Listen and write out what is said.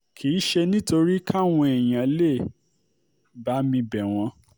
kì í ṣe nítorí káwọn èèyàn lè bá mi bẹ̀ wọ́n